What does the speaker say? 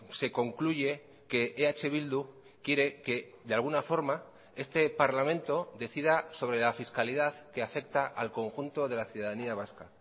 se concluye que eh bildu quiere que de alguna forma este parlamento decida sobre la fiscalidad que afecta al conjunto de la ciudadanía vasca